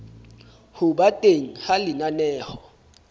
ho ba teng ha lenaneo